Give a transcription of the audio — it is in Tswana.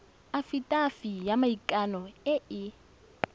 afitafiti ya maikano e e